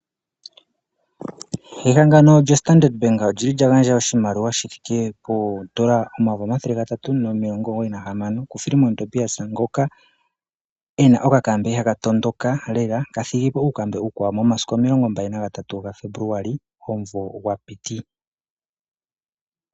Ehangano lyoStandard olyili lya gandja oshimaliwa shithike poodollar omayovi omathele gatatu , nomilongo omugoyi nahamano kuFillemon Tobias. Ngoka ena okakambe haka tondoka lela ka thigipo uukambe uukwawo momasiku omilonga mbali nagatatu gaFebuluali omumvo gwa piti.